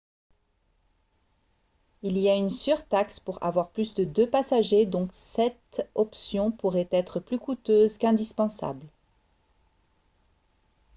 il y a une surtaxe pour avoir plus de deux passagers donc cette option pourrait être plus coûteuse qu'indispensable